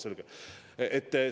Selge!